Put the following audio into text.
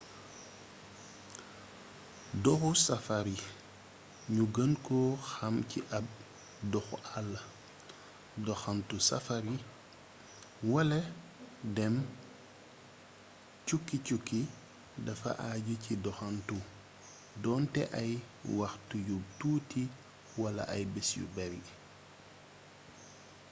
doxu safari ñu gën ko xam ci ab doxu àll” doxantu safari wala dem”cukki cukki” dafa aju ci doxantu doonte ay waxtu yu tuuti wala ay bés yu bare